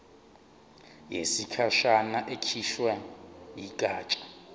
yesikhashana ekhishwe yigatsha